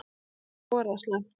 Þá er það slæmt.